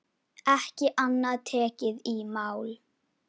Ekki annað tekið í mál.